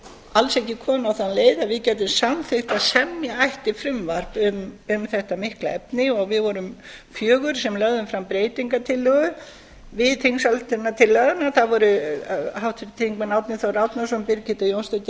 alls ekki komin á þá leið að við gætum samþykkt að semja ætti frumvarp um þetta mikla efni við vorum fjögur sem lögðum fram breytingartillögu við þingsályktunartillöguna það voru háttvirtir þingmenn árni þór árnason birgitta jónsdóttir